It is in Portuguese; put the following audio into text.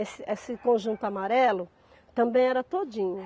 Esse esse conjunto amarelo, também era todinho.